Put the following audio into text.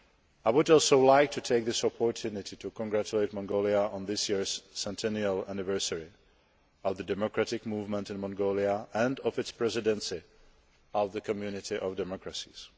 I would also like to take this opportunity to congratulate Mongolia on this year's 100th anniversary of the democratic movement in Mongolia and on its Presidency of the Community of Democracies.